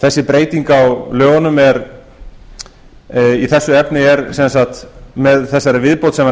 þessi breyting á lögunum í þessu efni með þessari viðbót sem